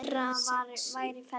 Það fyrra væri í ferli.